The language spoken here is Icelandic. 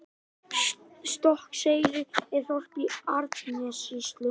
Stokkseyri er þorp í Árnessýslu.